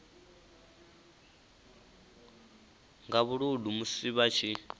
nga vhuludu musi vha tshi